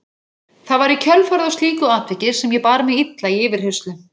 Það var í kjölfarið á slíku atviki sem ég bar mig illa í yfirheyrslu.